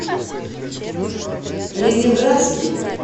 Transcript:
ленинградский